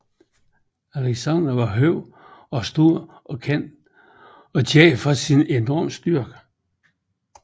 Aleksandr var høj og stor og kendt for sin enorme styrke